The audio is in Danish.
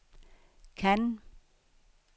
Cannes